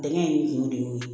Bɛnkɛ in kun de y'o ye